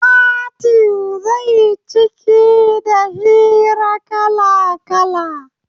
Fatin zai ciki da hira kala-kala